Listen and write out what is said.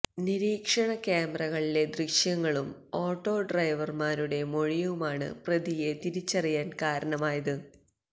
നിരീക്ഷണ ക്യാമറകളിലെ ദൃശ്യങ്ങളും ഓട്ടോഡ്രൈവറുടെ മൊഴിയുമാണ് പ്രതിയെ തിരിച്ചറിയാന് കാരണമായത്